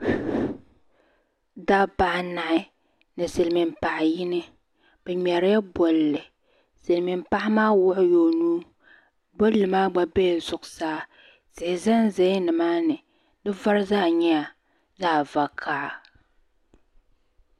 Dabba anahi ni silimiin paɣi yino bi ŋmari la bolli silimiin paɣi maa wuɣi la o nuu bolli maa gba bɛla zuɣusaa tihi zan za la nimaani di vari zaa nyɛla zaɣi vakaha